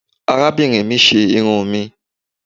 arabinrín mi ṣe irún mi